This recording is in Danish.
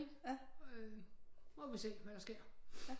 Ikke så må vi se hvad der sker